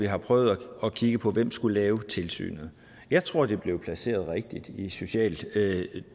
har prøvet at kigge på hvem der skulle lave tilsynet jeg tror det blev placeret rigtigt i socialtilsynet